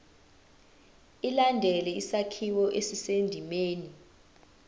ilandele isakhiwo esisendimeni